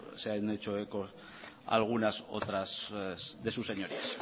se han hecho eco algunas otras de sus señorías